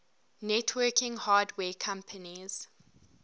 networking hardware companies